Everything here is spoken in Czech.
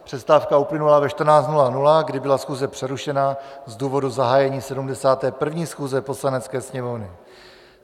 Přestávka uplynula ve 14.00, kdy byla schůze přerušena z důvodu zahájení 71. schůze Poslanecké sněmovny.